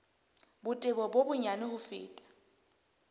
botebo bo bonyane ho feta